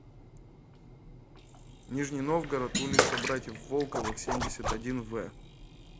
нижний новгород улица братьев волковых семьдесят один в